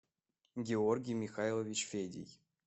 георгий михайлович федий